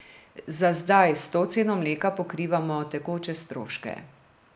Za zdaj s to ceno mleka pokrivamo tekoče stroške.